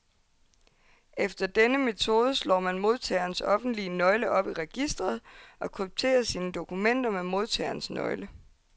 Efter denne metode slår man modtagerens offentlige nøgle op i registret, og krypterer sine dokumenter med modtagerens nøgle.